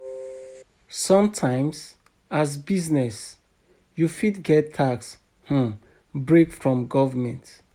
Sometimes, as business, you fit get tax um break from government